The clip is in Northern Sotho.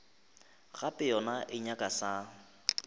gape yona e nyaka sa